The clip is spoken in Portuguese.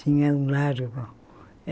Tinha um largo.